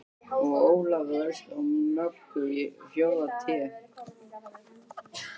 Og Ólafur elskar Möggu í fjórða Té.